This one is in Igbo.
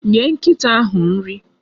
Nye nkịta ahụ nri!